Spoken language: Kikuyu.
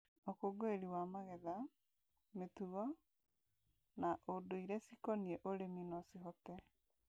ũkũngũĩri wa magetha, mĩtugo na ũndũirecikonie ũrĩmi no cihote